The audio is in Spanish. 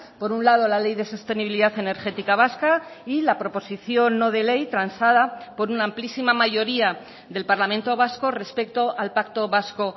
por un lado la ley de sostenibilidad energética vasca y la proposición no de ley transada por una amplísima mayoría del parlamento vasco respecto al pacto vasco